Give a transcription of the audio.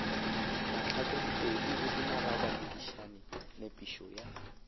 mahlakorepedi le dinagabadirišani nepišo ya